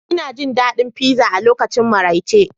Ina jin daɗin pizza a lokacin maraice